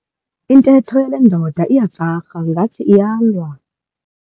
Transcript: Intetho yale ndoda iyatsarha ngathi iyalwa.